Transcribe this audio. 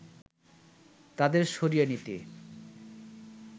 তাদের সরিয়ে নিতে